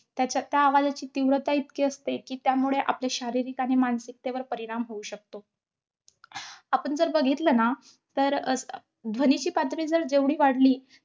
त्याच्या~ त्या आवाजाची तीव्रता इतकी असते कि, त्यामुळे आपले शारीरिक आणि मानसिकतेवर परिणाम होऊ शकतो. आपण जर बघितलं न तर अं ध्वनीची पातळी जर जेवढी वाढली